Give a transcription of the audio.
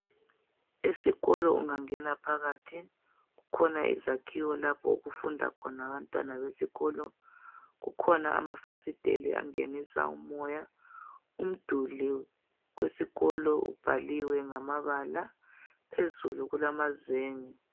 Esikolo ungangena phakathi kukhona izakhiwo lapho okufunda khona abantwana besikolo kukhona amafasitela angenisa umoya umduli wesikolo ubhaliwe ngamabala, phezulu kulamazenge.